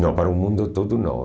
Não para o mundo todo, não.